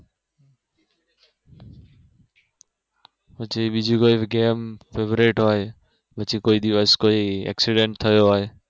પછી બીજું કઈ જે આમ Favorite હોય પછી કોઈ દિવસ કોઈ Accident થયો હોય